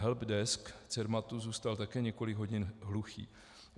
Helpdesk Cermatu zůstal také několik hodin hluchý.